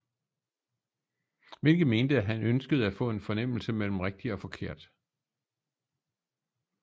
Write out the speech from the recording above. Hvilket mente at han ønskede at få en fornemmelse mellem rigtig og forkert